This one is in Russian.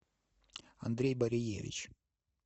андрей бариевич